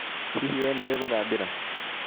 Hihi wee nĩ ũĩ gũthambĩra?